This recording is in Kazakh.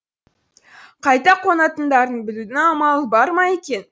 қайда қонатындарын білудің амалы бар ма екен